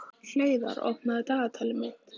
Hleiðar, opnaðu dagatalið mitt.